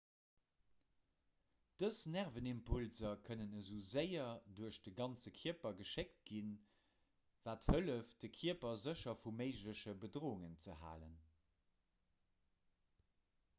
dës nervenimpulser kënnen esou séier duerch de ganze kierper geschéckt ginn wat hëlleft de kierper sécher vu méigleche bedroungen ze halen